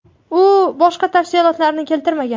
U boshqa tafsilotlarni keltirmagan.